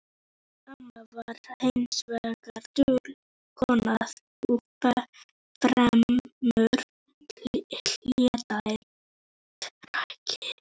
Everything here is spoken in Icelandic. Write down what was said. Amma var hins vegar dul kona og fremur hlédræg.